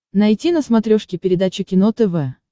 найти на смотрешке передачу кино тв